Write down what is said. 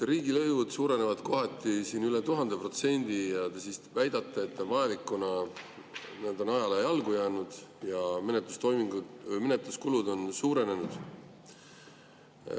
Riigilõivud suurenevad kohati üle 1000% ja te väidate, et see on vajalik, kuna need on ajale jalgu jäänud ja menetluskulud on suurenenud.